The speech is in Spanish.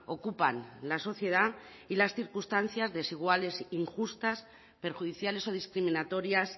ocupan la sociedad y las circunstancias desiguales e injustas perjudiciales o discriminatorias